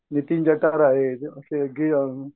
नितीन जठार आहे आणि